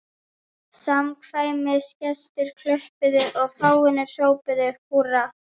Samkvæmisgestir klöppuðu og fáeinir hrópuðu húrra.